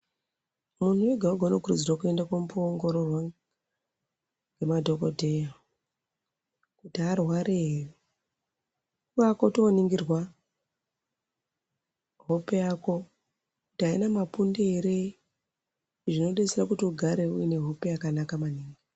Munhu wega wega anokurudzirwa kuenda komboongororwa nemadhokodheya kuti haarwari here kubakutononingirwa hope yako kuti haina mapundu here hope yakanaka maningi .